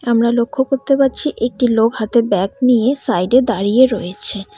আমরা লক্ষ করতে পারছি একটি লোক হাতে ব্যাগ নিয়ে সাইড -এ দাঁড়িয়ে রয়েছে।